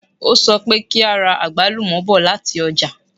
O sọ pé kí a ra àgbálùmọ̀ bọ̀ lati ọ́jà